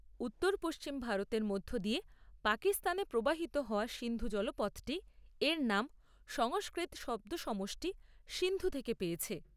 উত্তর পশ্চিম ভারতের মধ্য দিয়ে পাকিস্তানে প্রবাহিত হওয়া সিন্ধু জলপথটি এর নাম সংস্কৃত শব্দসমষ্টি সিন্ধু থেকে পেয়েছে।